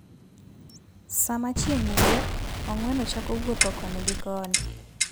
Sama chieng' wuok, ong'weno chako wuotho koni gi koni.